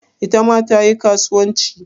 Ita ma ta yi karuwanci?